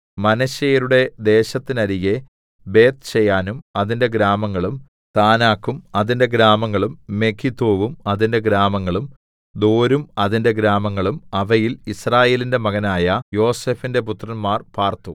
മനശ്ശെയരുടെ ദേശത്തിന്നരികെ ബേത്ത്ശെയാനും അതിന്റെ ഗ്രാമങ്ങളും താനാക്കും അതിന്റെ ഗ്രാമങ്ങളും മെഗിദ്ദോവും അതിന്റെ ഗ്രാമങ്ങളും ദോരും അതിന്റെ ഗ്രാമങ്ങളും അവയിൽ യിസ്രായേലിന്റെ മകനായ യോസേഫിന്റെ പുത്രന്മാർ പാർത്തു